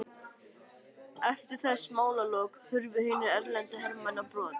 Eftir þessi málalok hurfu hinir erlendu hermenn á brott.